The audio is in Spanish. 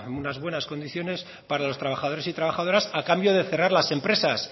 unas buenas condiciones para los trabajadores y trabajadoras a cambio de cerrar las empresas